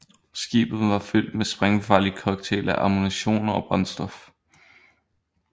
Skibet var fyldt med sprængfarlig cocktail af ammunition og brændstof